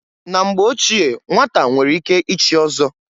Na mgbe ochie nnwata nwere ike ichi ọzọ.